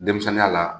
Denmisɛnninya la